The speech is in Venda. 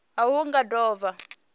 a hu nga do vha